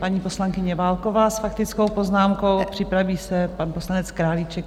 Paní poslankyně Válková s faktickou poznámkou, připraví se pan poslanec Králíček.